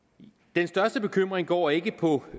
den største bekymring går ikke på